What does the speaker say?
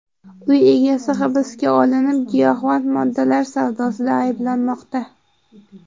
Uy egasi hibsga olinib, giyohvand moddalar savdosida ayblanmoqda.